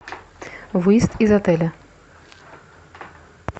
выезд из отеля